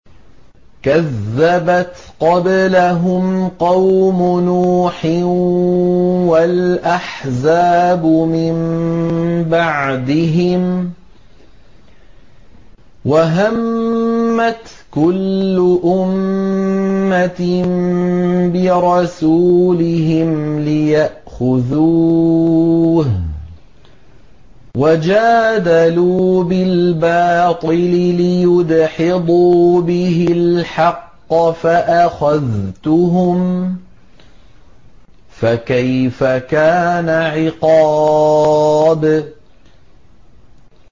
كَذَّبَتْ قَبْلَهُمْ قَوْمُ نُوحٍ وَالْأَحْزَابُ مِن بَعْدِهِمْ ۖ وَهَمَّتْ كُلُّ أُمَّةٍ بِرَسُولِهِمْ لِيَأْخُذُوهُ ۖ وَجَادَلُوا بِالْبَاطِلِ لِيُدْحِضُوا بِهِ الْحَقَّ فَأَخَذْتُهُمْ ۖ فَكَيْفَ كَانَ عِقَابِ